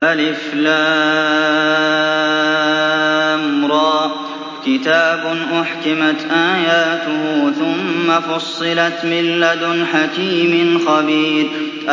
الر ۚ كِتَابٌ أُحْكِمَتْ آيَاتُهُ ثُمَّ فُصِّلَتْ مِن لَّدُنْ حَكِيمٍ خَبِيرٍ